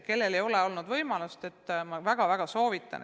Kellel ei ole olnud võimalust, siis ma väga soovitan.